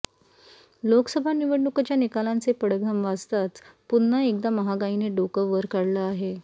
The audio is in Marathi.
लोकसभा निवडणूकांच्या निकालांचे पडघम वाजताच पुन्हा एकदा महागाईने डोकं वर काढलं आहे